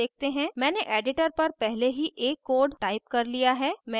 मैंने editor पर पहले ही एक code टाइप कर लिया है मैं इसे खोलूंगी